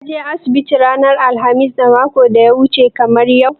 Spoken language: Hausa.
Ka je asibiti ranar alkhamis na makon da ya wuce kamar yadda aka ce?